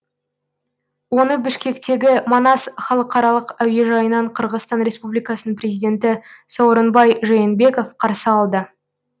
оны бішкектегі манас халықаралық әуежайынан қырғызстан республикасының президенті сооронбай жээнбеков қарсы алды